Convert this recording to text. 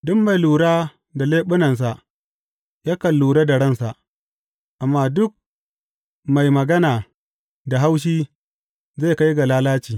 Duk mai lura da leɓunansa yakan lura da ransa, amma duk mai magana da haushi zai kai ga lalaci.